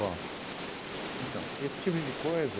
Bom, então, esse tipo de coisa...